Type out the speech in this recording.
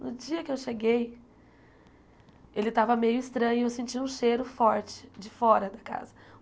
No dia que eu cheguei, ele estava meio estranho, eu senti um cheiro forte de fora da casa.